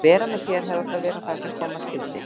Að vera með þér hefði átt að vera það sem koma skyldi.